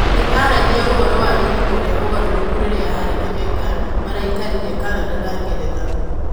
Nĩ aaragia ũhoro wa ihinda rĩa ũgarũrũku rĩrĩa Harry na Meghan maraikarire Canada na Ngeretha.